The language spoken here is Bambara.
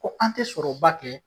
Ko an tɛ sɔrɔba kɛ.